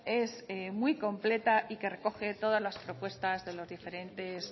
es muy completa y que recoge todas las propuestas de los diferentes